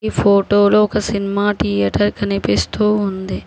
ఫోటోలో ఒక cinema theatre కనిపిస్తూ ఉంది.